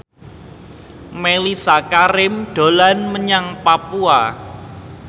Mellisa Karim dolan menyang Papua